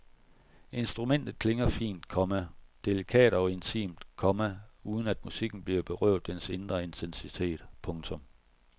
Instrumentet klinger fint, komma delikat og intimt, komma uden at musikken bliver berøvet dens indre intensitet. punktum